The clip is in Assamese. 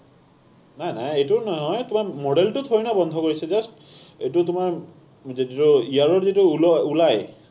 নাই, নাই। এইটো নহয়। তোমাৰ model টো thodi nah বন্ধ কৰিছে, just এইটো তোমাৰ ইয়াৰো যিটো ওল, ওলায়,